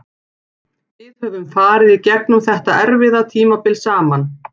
Við höfum farið í gegnum þetta erfiða tímabil saman.